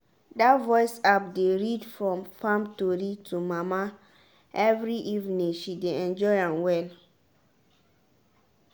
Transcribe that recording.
that voice app dey read farm tori to mama every evening she dey enjoy am well.